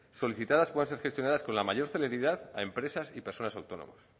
solicitadas puedan ser gestionadas con la mayor celeridad a empresas y personas autónomas